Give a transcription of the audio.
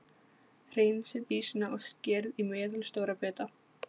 Hreinsið ýsuna og skerið í meðalstóra bita.